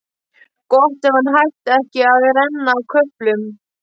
Gott ef hann hætti ekki að renna á köflum.